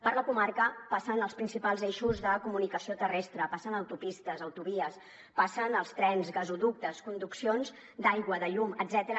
per la comarca passen els principals eixos de comunicació terrestre passen autopistes autovies passen els trens gasoductes conduccions d’aigua de llum etcètera